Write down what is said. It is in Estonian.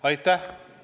Aitäh!